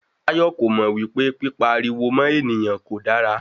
Táyọ̀ kò mò wípé pípa ariwo mọ́ ènìyàn kò dára.